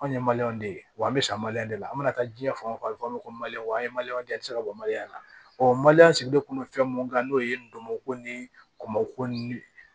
Anw ye de ye wa an be san de la an mana taa jiɲɛ fan o fan fɛ an ye ka bɔ na maliyɛn sigidenkun bɛ fɛn mun kan n'o ye ndomɔko ni kɔmɔko ni